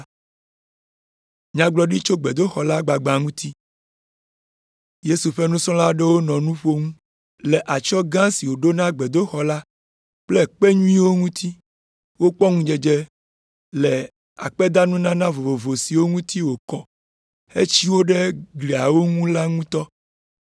Yesu ƒe nusrɔ̃la aɖewo nɔ nu ƒom le atsyɔ̃ gã si woɖo na gbedoxɔ la kple kpe nyuiwo ŋuti. Wokpɔ ŋudzedze le akpedanunana vovovo siwo ŋuti wokɔ hetsi wo ɖe gliawo ŋu la ŋu ŋutɔ.